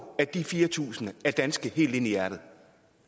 at de fire tusind er danske helt ind i hjertet